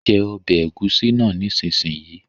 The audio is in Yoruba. Jẹ ọbẹ̀ ẹ̀gúsí náà nísinsìnyí!